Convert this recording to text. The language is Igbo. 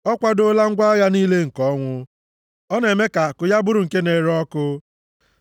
Ọ kwadoola ngwa agha niile nke ọnwụ; ọ na-eme ka àkụ ya bụrụ nke na-ere ọkụ.